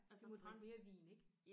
De må drikke mere vin ik